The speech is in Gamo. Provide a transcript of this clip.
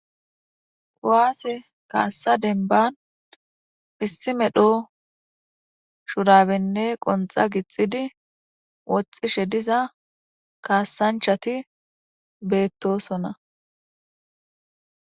Kowaase kaassa denban issi medho shurabenne qonxa gixidi woxxishe diza kaassanchati beettosona.